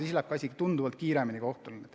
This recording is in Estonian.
Siis läheb ka kohtus kõik tunduvalt kiiremini.